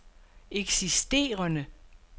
eksisterende